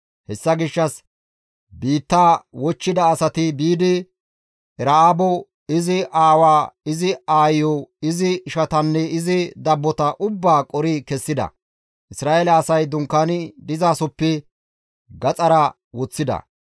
Hessa gishshas biittaa wochchida asati biidi Era7aabo, izi aawaa, izi aayiyo, izi ishatanne izi dabbota ubbaa qori kessida; Isra7eele asay dunkaani dizasoppe gaxara woththida.